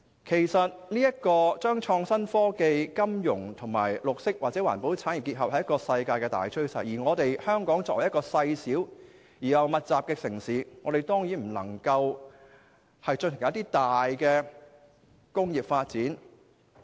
其實將創新科技、金融和綠色或環保產業結合是世界的大趨勢，而香港作為細小而人口稠密的城市，當然不能夠進行大型工業發展。